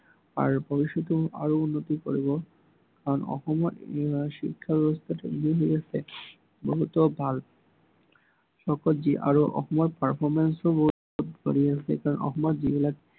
আৰু ভৱিষ্য়তে আৰু উন্নতি কৰিব। কাৰন অসমৰ ইয়াৰ শিক্ষা ব্য়ৱস্থাটো হৈ আছে, বহুতো ভাল আৰু অসমত performance ও বহুত কৰি আছে। কাৰন অসমত যিবিলাক